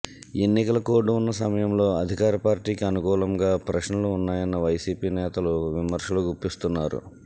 ఎన్నికల కోడ్ ఉన్న సమయంలో అధికార పార్టీకి అనుకూలంగా ప్రశ్నలు ఉన్నాయని వైసీపీ నేతలు విమర్శలు గుప్పిస్తున్నారు